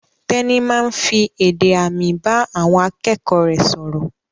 Tẹ́ní máa ń fi èdè àmì bá àwọn akẹ́kọ̀ọ́ rẹ̀ sọ̀rọ̀.